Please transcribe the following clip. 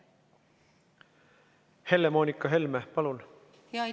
Helle-Moonika Helme, palun!